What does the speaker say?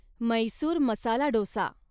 Mysore masala dosa